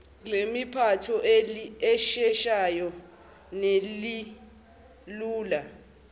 lempatho elisheshayo nelilula